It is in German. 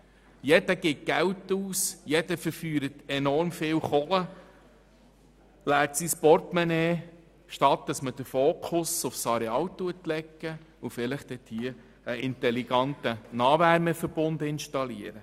Jeder gibt Geld aus, verfeuert enorm viel «Kohle» und leert sein Portemonnaie, statt den Fokus auf das Areal zu legen und dort vielleicht einen intelligenten Nahwärmeverbund zu installieren.